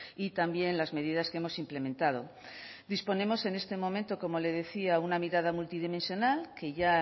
y también las medidas que hemos implementado disponemos en este momento como le decía una mirada multidimensional que ya